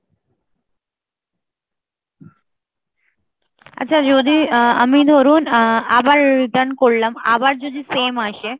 আচ্ছা যদি আমি ধরুন আবার return করলাম, আবার যদি same আসে